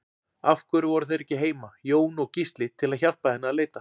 Af hverju voru þeir ekki heima, Jón og Gísli, til að hjálpa henni að leita?